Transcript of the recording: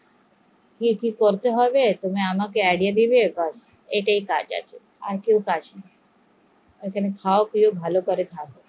কিছু করতে হবে তুমি আমাকে এগিয়ে দেবে আমাকে এটাই কাজ আছে, খাও পিও এটাই কাজ